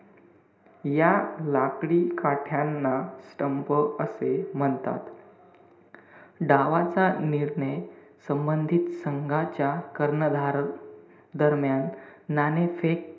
या लाकडी काठ्यांना stump असे म्हणतात. डावाचा निर्णय संबंधित संघाच्या कर्णधार दरम्यान नाणेफेक,